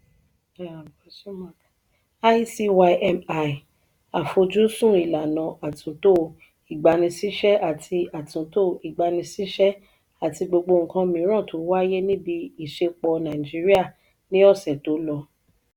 icymi: àfojúsùn ìlànà atunto igbanisise àti atunto igbanisise àti gbogbo nkan miran to wáyé níbi isẹpo nàìjíríà ní ọsẹ tó lọ.